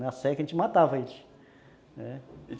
Na seca a gente matava eles.